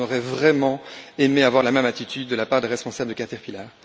On aurait vraiment aimé voir la même attitude de la part des responsables de Caterpillar.